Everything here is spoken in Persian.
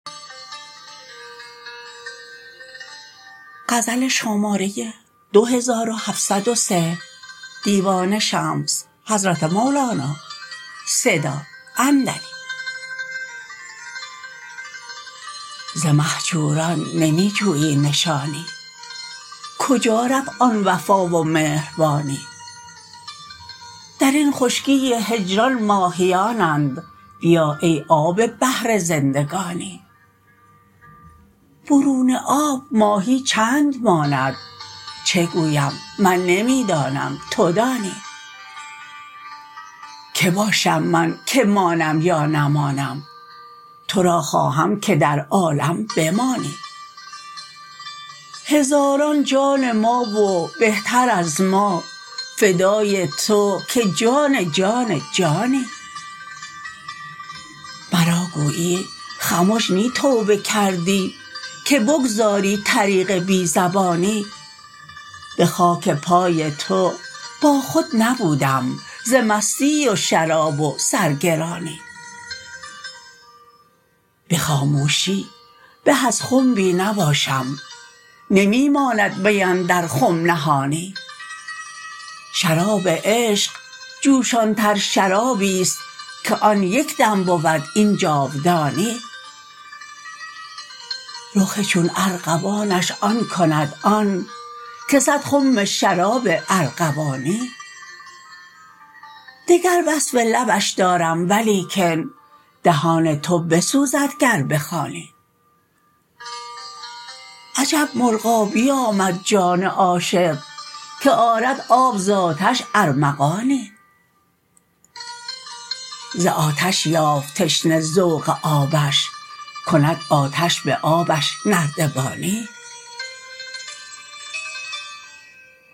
ز مهجوران نمی جویی نشانی کجا رفت آن وفا و مهربانی در این خشکی هجران ماهیانند بیا ای آب بحر زندگانی برون آب ماهی چند ماند چه گویم من نمی دانم تو دانی کی باشم من که مانم یا نمانم تو را خواهم که در عالم بمانی هزاران جان ما و بهتر از ما فدای تو که جان جان جانی مرا گویی خمش نی توبه کردی که بگذاری طریق بی زبانی به خاک پای تو باخود نبودم ز مستی و شراب و سرگرانی به خاموشی به از خنبی نباشم نمی ماند می اندر خم نهانی شراب عشق جوشانتر شرابی است که آن یک دم بود این جاودانی رخ چون ارغوانش آن کند آن که صد خم شراب ارغوانی دگر وصف لبش دارم ولیکن دهان تو بسوزد گر بخوانی عجب مرغابی آمد جان عاشق که آرد آب ز آتش ارمغانی ز آتش یافت تشنه ذوق آبش کند آتش به آبش نردبانی